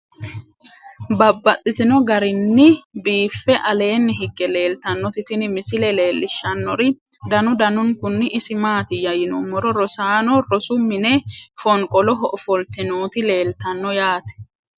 Babaxxittinno garinni biiffe aleenni hige leelittannotti tinni misile lelishshanori danu danunkunni isi maattiya yinummoro rosaanno rosu minne fonqoloho offolitte nootti leelittanno yaatte